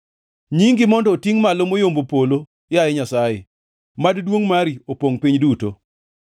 Nyingi mondo otingʼ malo moyombo polo, yaye Nyasaye; mad duongʼ mari opongʼ piny duto.